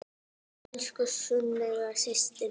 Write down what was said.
Elsku Sunneva systir mín.